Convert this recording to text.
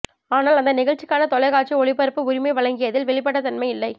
ஆனால் அந்த நிகழ்ச்சிக்கான தொலைக்காட்சி ஒளிபரப்பு உரிமை வழங்கியதில் வெளிப்படைத்தன்மை இல்லை